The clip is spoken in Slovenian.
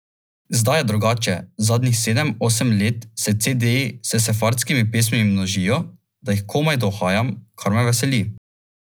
Tin bo vodil en večer, meni še vedno ostaneta dva.